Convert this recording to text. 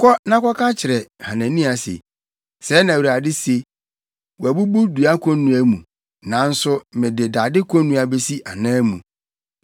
“Kɔ na kɔka kyerɛ Hanania se, ‘Sɛɛ na Awurade se: Woabubu dua konnua mu, nanso mede dade konnua besi anan mu.